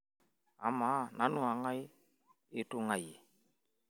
amaa nanu ong'ae itung'uayie